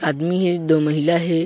आदमी हे दो महिला हे।